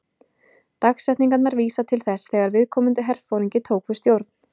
Dagsetningarnar vísa til þess þegar viðkomandi herforingi tók við stjórn.